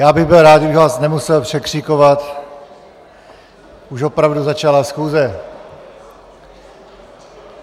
Já bych byl rád, kdybych vás nemusel překřikovat, už opravdu začala schůze.